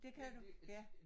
Det kan du? Ja